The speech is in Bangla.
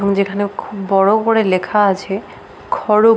এবং যেখানে খুব বড় করে লেখা আছে খরগ --